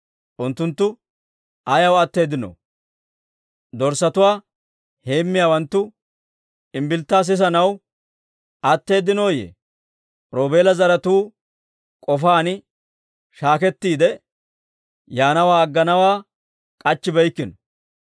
Unttunttu ayaw atteeddinoo? Dorssatuwaa heemmiyaawanttu imbbilittaa sisanaw atteedinooyye? Roobeela zaratuu k'ofaan shaakettiide, yaanawaa agganawaa k'achchibeykkino.